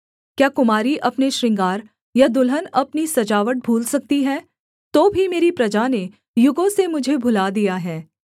क्या कुमारी अपने श्रृंगार या दुल्हन अपनी सजावट भूल सकती है तो भी मेरी प्रजा ने युगों से मुझे भुला दिया है